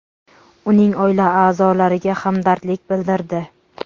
uning oila a’zolariga hamdardlik bildirdi.